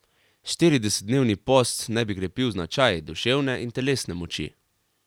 Štiridesetdnevni post naj bi krepil značaj, duševne in telesne moči.